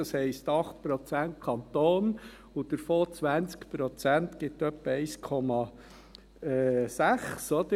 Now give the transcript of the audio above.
Das heisst: 8 Prozent Kanton, und davon 20 Prozent, das gibt etwa 1,6 Prozent.